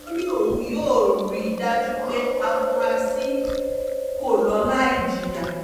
ó lóun yóò rí i dájú pé àfúráṣí kọ́ ló láì jìyà